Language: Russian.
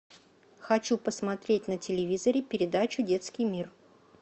хочу посмотреть на телевизоре передачу детский мир